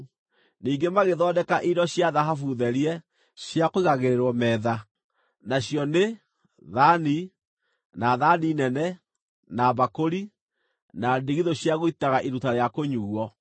Ningĩ magĩthondeka indo cia thahabu therie, cia kũigagĩrĩrwo metha, na nacio nĩ: thaani, na thaani nene, na mbakũri, na ndigithũ cia gũitaga iruta rĩa kũnyuuo.